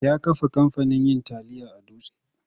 Ya kafa kamfanin yin tayil a Dutse.